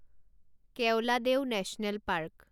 Keoladeo national park